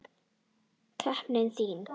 Skepnan þín!